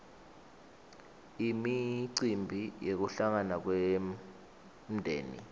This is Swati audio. imicimbi yekuhlangana kwemdzeni